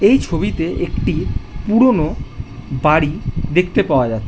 এই ছবিতে একটি পুরনো বাড়ি দেখতে পাওয়া যা --